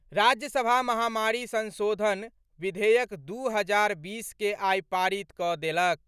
राज्यसभा महामारी संशोधन विधेयक दू हजार बीस के आई पारित कऽ देलक।